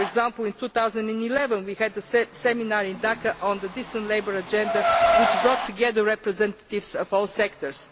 For example in 2011, we had a seminar in Dhaka on the Decent Labour Agenda which brought together representatives from all sectors.